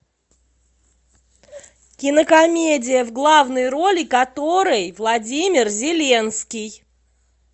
кинокомедия в главной роли которой владимир зеленский